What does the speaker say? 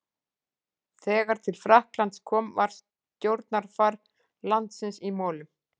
Þegar til Frakklands kom var stjórnarfar landsins í molum.